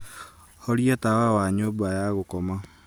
horia tawa wa nyumba ya gukoma